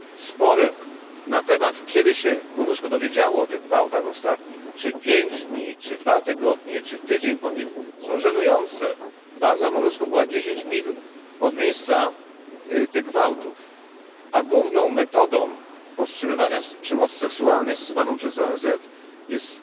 Spory na temat, kiedy MONUSCO dowiedziało się o tych ostatnich gwałtach, czy 5 dni, czy 2 tygodnie, czy tydzień po nich, są żenujące. Baza MONUSCO była 10 mil od miejsca tych gwałtów, a główną metodą powstrzymywania przemocy seksualnej stosowaną przez ONZ jest